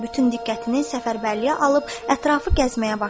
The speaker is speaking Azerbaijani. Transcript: Bütün diqqətini səfərbərliyə alıb ətrafı gəzməyə başladı.